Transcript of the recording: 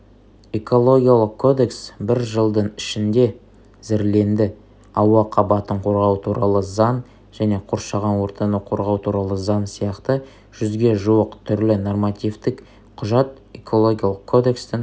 экологиялық кодекс бір жылдың ішінде зірленді ауа қабатын қорғау туралы заң және қоршаған ортаны қорғау туралы заң сияқты жүзге жуық түрлі нормативтік құжат экологиялық кодекстің